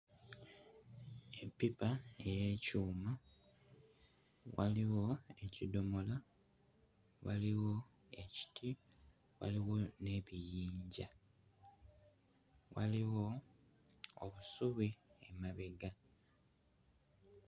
Eppipa ey'ekyuma, waliwo ekidomola, waliwo ekiti, waliwo n'ebiyinja, waliwo obusubi emabega.